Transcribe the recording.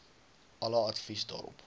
alle advies daarop